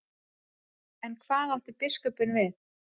En hvað átti biskup við?